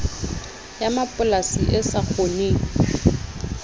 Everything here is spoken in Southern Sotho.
ya mapolasi e sa kgoneng